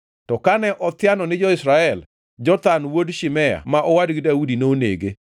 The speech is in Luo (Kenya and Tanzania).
To kane othiano ni jo-Israel, Jonathan wuod Shimea ma owadgi Daudi nonege.